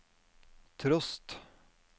trost